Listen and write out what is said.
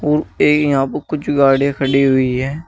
ऊं ये यहां पे कुछ गाड़ीया खड़ी हुई हैं।